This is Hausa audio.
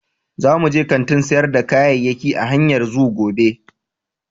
Za mu je kantin sayar da kayayyaki a hanyar Zoo gobe.